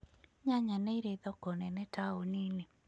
Nyanya nĩ irĩ thoko nene taũni-inĩ.